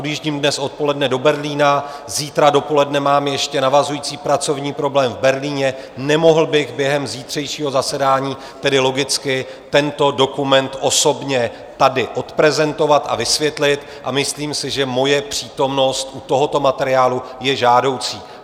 Odjíždím dnes odpoledne do Berlína, zítra dopoledne mám ještě navazující pracovní program v Berlíně, nemohl bych během zítřejšího zasedání tedy logicky tento dokument osobně tady odprezentovat a vysvětlit, a myslím si, že moje přítomnost u tohoto materiálu je žádoucí.